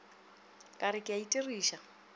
ka re ke a itiriša